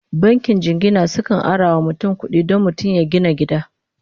bankin jingina sukan arawa mutum kuɗi Dan mutum ya gina gida